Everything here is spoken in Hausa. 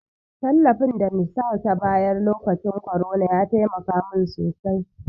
Tallafin da nisal ta bayar lokacin korona ya taimaka mun sosai.